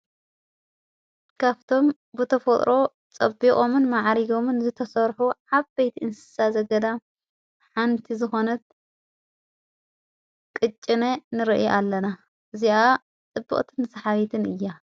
ካፍቶም ብተፈጥሮ ጸቢኦምን መዓሪጎምን ዝተሠርሑ ዓበይት እንስሳ ዘገዳም ሓንቲ ዝኾነት ቕጭነ ንርአ ኣለና እዚኣ ጥብቕትን ሰሓቢትን እያ::